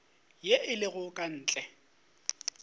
ye e lego ka ntle